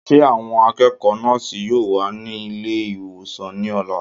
Ṣé àwọn akẹ́kọ̀ọ́ nọ́ọ̀sì yóò wà ní ilé ìwòsàn ní ọ̀la?